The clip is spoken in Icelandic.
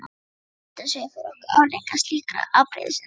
Við getum séð fyrir okkur afleiðingar slíkrar afbrýðisemi.